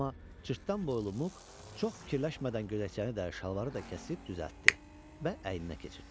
Amma cırtdan boylu Muk çox fikirləşmədən gödəkçəni də, şalvarı da kəsib düzəltdi və əyninə keçirtdi.